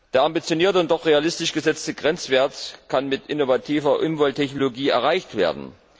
Der ambitionierte und doch realistisch gesetzte Grenzwert kann mit innovativer Umwelttechnologie erreicht werden.